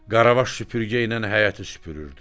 Qaravaş süpürgə ilə həyəti süpürürdü.